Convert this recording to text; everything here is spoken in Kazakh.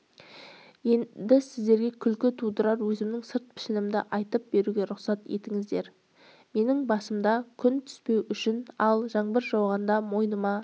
енді сіздерге күлкі тудырар өзімнің сырт пішінімді айтып беруге рұқсат етіңіздер менің басымда күн түспеу үшін ал жаңбыр жауғанда мойныма